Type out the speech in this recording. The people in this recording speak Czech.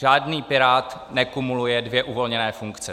Žádný pirát nekumuluje dvě uvolněné funkce.